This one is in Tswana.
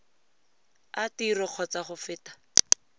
a tiro kgotsa go feta